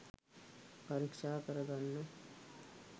පරික්ෂා කරගන්න